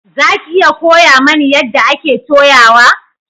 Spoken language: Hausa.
Za ki iya koya mani yadda ake toyawa?